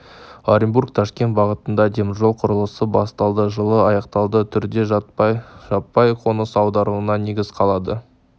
оренбург-ташкент бағытында теміржол құрылысы басталды жылы аяқталды түрде жаппай қоныс аударуына негіз қалады